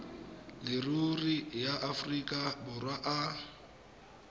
leruri ya aforika borwa a